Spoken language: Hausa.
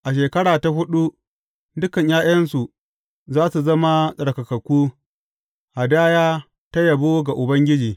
A shekara ta huɗu, dukan ’ya’yansu za su zama tsarkakakku, hadaya ta yabo ga Ubangiji.